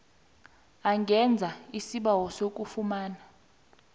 angenza isibawo sokufumana